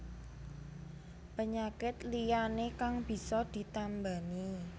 Penyakit liyané kang bisa ditambani